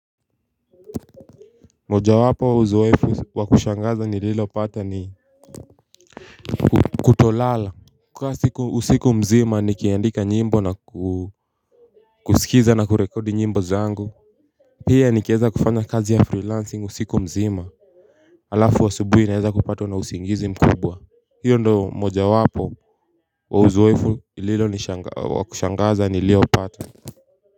Mojawapo wa uzoefu wa kushangaza nililopata ni kutolala kukaa usiku mzima nikiandika nyimbo na kuskiza na kurekodi nyimbo zangu Pia nikieza kufanya kazi ya freelancing usiku mzima Alafu asubuhi naeza kupatwa na usingizi mkubwa Hio ndio mojawapo wa uzoefu ililonishangaza wa kushangaza niliopata.